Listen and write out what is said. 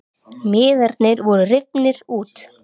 Miðarnir voru rifnir út